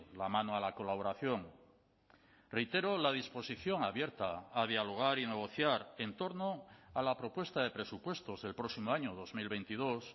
la mano a la colaboración reitero la disposición abierta a dialogar y negociar en torno a la propuesta de presupuestos del próximo año dos mil veintidós